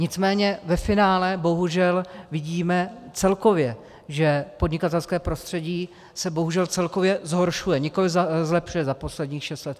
Nicméně ve finále bohužel vidíme, celkově, že podnikatelské prostředí se bohužel celkově zhoršuje, nikoliv zlepšuje za posledních šest let.